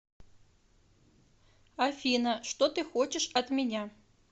афина что ты хочешь от меня